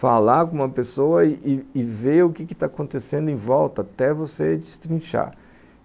falar com uma pessoa e e ver o que está acontecendo em volta, até você destrinchar.